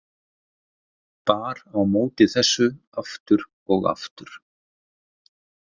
Bar á móti þessu aftur og aftur.